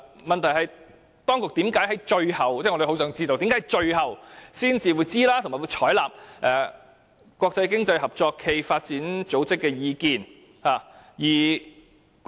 問題是，我們很想知道，當局為甚麼在最後才知悉有關事宜，並且採納經合組織的意見？